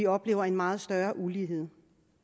opleve en meget større ulighed